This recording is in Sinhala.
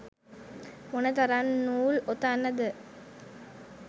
මොන තරම් නූල් ඔතන්න ද?